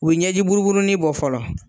U bi ɲɛji buruburunin bɔ fɔlɔ